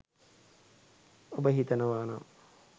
ඔබ හිතනවානං